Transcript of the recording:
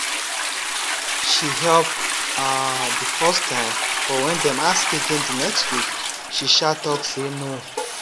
she help um the first time but when dem ask again the next week she um talk say no